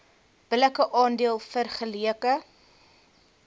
billike aandeel vergeleke